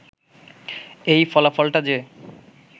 এই ফলাফলটা যে